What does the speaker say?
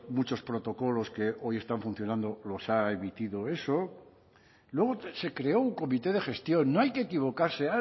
muchos protocolos que hoy están funcionando los ha emitido eso luego se creó un comité de gestión no hay que equivocarse